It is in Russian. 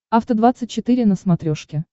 афта двадцать четыре на смотрешке